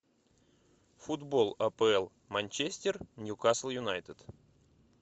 футбол апл манчестер ньюкасл юнайтед